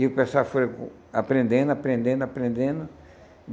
E o pessoal foi aprendendo, aprendendo, aprendendo.